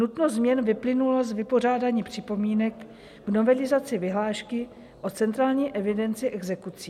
Nutnost změn vyplynula z vypořádání připomínek v novelizaci vyhlášky o centrální evidenci exekucí.